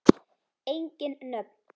Engin nöfn.